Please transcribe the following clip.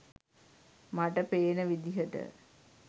මට පේන විදියට.